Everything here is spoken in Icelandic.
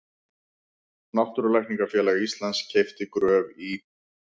Náttúrulækningafélag Íslands keypti Gröf í